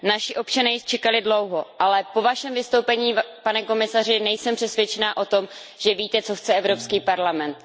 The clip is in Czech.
Naši občané již čekali dlouho, ale po Vašem vystoupení, pane komisaři, nejsem přesvědčená o tom, že víte, co chce Evropský parlament.